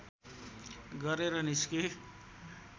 गरेर निस्के